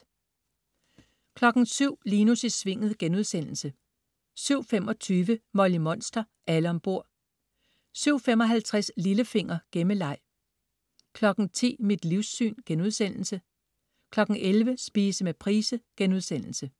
07.00 Linus i Svinget* 07.25 Molly Monster. Alle om bord! 07.55 Lillefinger. Gemmeleg 10.00 Mit livssyn* 11.00 Spise med Price*